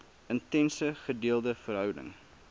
intense gedeelde verhouding